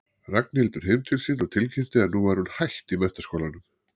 Ragnhildur heim til sín og tilkynnti að nú væri hún hætt í menntaskólanum.